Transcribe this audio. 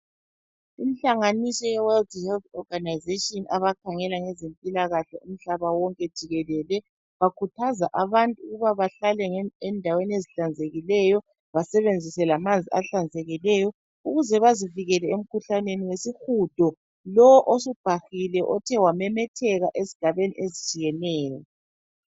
Inhlanganiso ye World Health Organisation abakhangela ngezemipilakahle umhlaba wonke jikelele bakhuthaza abantu ukuba bahlale endaweni ezihlanzekileyo basebenzise lamanzi ahlanzekileyo ukuze bazivikele emkhuhlaneni wesihudo lowu osubhahile othe wamemetheka ezigabeni ezitshiyeneyo.